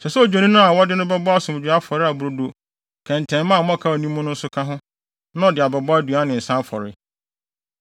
Ɛsɛ sɛ ɔde odwennini a wɔde no bɛbɔ asomdwoe afɔre a brodo kɛntɛnma a mmɔkaw nni mu nso ka ho na ɔde abɛbɔ aduan ne nsa afɔre.